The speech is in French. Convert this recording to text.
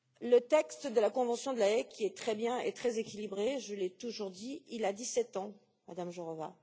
Le texte de la Convention de La Haye qui est très bien et très équilibré, je l'ai toujours dit a dix sept ans, Madame Jourová.